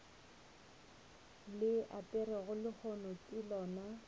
le aperego lehono ke lona